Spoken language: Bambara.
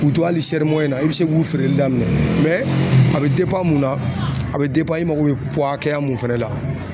K'u to hali na i bi se k'u feereli daminɛ a bi mun na a bɛ i mago be hakɛya mun fɛnɛ la